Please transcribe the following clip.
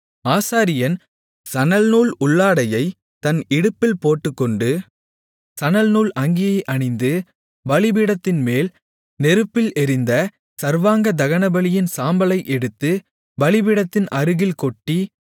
ஆசாரியன் சணல்நூல் உள்ளாடையை தன் இடுப்பில் போட்டுக்கொண்டு சணல்நூல் அங்கியை அணிந்து பலிபீடத்தின்மேல் நெருப்பில் எரிந்த சர்வாங்க தகனபலியின் சாம்பலை எடுத்து பலிபீடத்தின் அருகில் கொட்டி